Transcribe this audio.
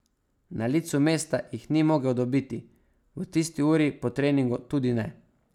Na licu mesta jih ni mogel dobiti, v tisti uri po treningu tudi ne.